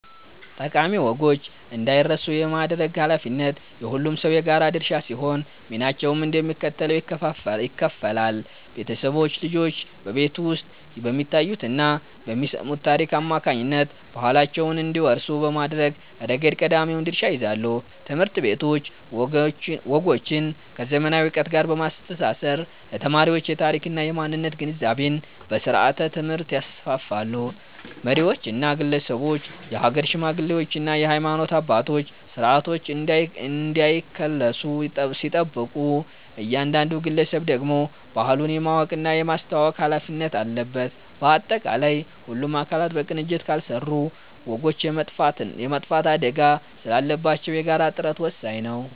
ጠቃሚ ወጎች እንዳይረሱ የማድረግ ኃላፊነት የሁሉም ሰው የጋራ ድርሻ ሲሆን፣ ሚናቸውም እንደሚከተለው ይከፈላል፦ ቤተሰቦች፦ ልጆች በቤት ውስጥ በሚያዩትና በሚሰሙት ታሪክ አማካኝነት ባህላቸውን እንዲወርሱ በማድረግ ረገድ ቀዳሚውን ድርሻ ይይዛሉ። ትምህርት ቤቶች፦ ወጎችን ከዘመናዊ ዕውቀት ጋር በማስተሳሰር ለተማሪዎች የታሪክና የማንነት ግንዛቤን በስርዓተ-ትምህርት ያስፋፋሉ። መሪዎችና ግለሰቦች፦ የሀገር ሽማግሌዎችና የሃይማኖት አባቶች ስርዓቶች እንዳይከለሱ ሲጠብቁ፣ እያንዳንዱ ግለሰብ ደግሞ ባህሉን የማወቅና የማስተዋወቅ ኃላፊነት አለበት። ባጠቃላይ፣ ሁሉም አካላት በቅንጅት ካልሰሩ ወጎች የመጥፋት አደጋ ስላለባቸው የጋራ ጥረት ወሳኝ ነው።